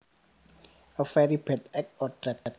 A very bad act or trait